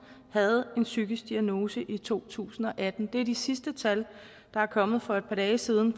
havde en psykisk diagnose i to tusind og atten det er det sidste tal der er kommet for et par dage siden